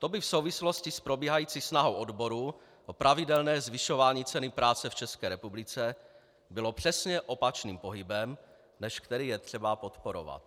To by v souvislosti s probíhající snahou odborů o pravidelné zvyšování ceny práce v České republice bylo přesně opačným pohybem, než který je třeba podporovat.